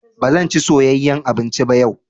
Ba zan ci soyeyyan abinci ba yau.